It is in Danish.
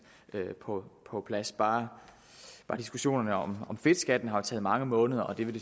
på på plads bare diskussionerne om fedtskatten har taget mange måneder og det vil